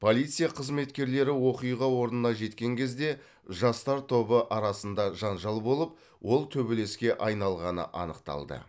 полиция қызметкерлері оқиға орнына жеткен кезде жастар тобы арасында жанжал болып ол төбелеске айналғаны анықталды